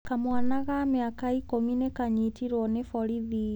Kamwana ka mĩaka ikũmi nĩ kaanyitirũo nĩ borithi.